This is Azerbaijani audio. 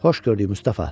Xoş gördük Mustafa.